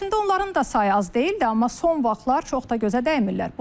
Əslində onların da sayı az deyildi, amma son vaxtlar çox da gözə dəymirlər.